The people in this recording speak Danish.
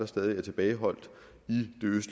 stadig er tilbageholdt